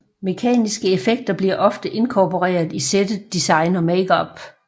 Mekaniske effekter bliver ofte inkorporeret i settet design og makeup